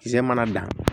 Ze mana dan